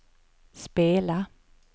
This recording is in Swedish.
spela